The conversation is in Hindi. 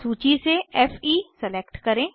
सूची से फे सेलेक्ट करें